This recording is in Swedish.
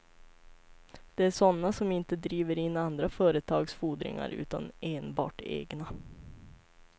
Det är sådana som inte driver in andra företags fordringar utan enbart egna.